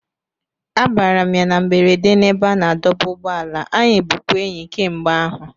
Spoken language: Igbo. Abara m ya na mberede n'ebe a na-adọba ụgbọala, anyị bụkwa enyi kemgbe ahụ